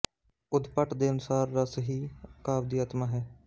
ਉਦਭੱਟ ਦੇ ਅਨੁਸਾਰ ਰਸ ਹੀ ਕਾਵਿ ਦੀ ਆਤਮਾ ਹੈ